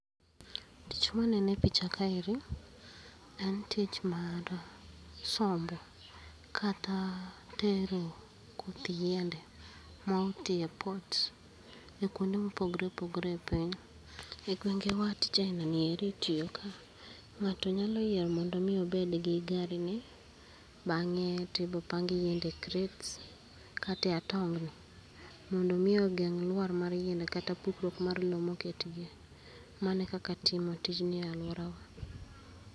Tich maneno e picha kaeri, en tich mar, sombo kata, tero koth yiende ma oti e port e kwonde mopogre opogre e piny. E gwenge wa tij aina ni itiyo ka, ng'ato nyalo yiero mondo mi obed gi gari ni, bang'e tibopang yiende e crates kata e atongni mondo mi ogeng' lwar mar yiende kata pukruok mar lo moketgie. Mano kaka timo tijni e alwora wa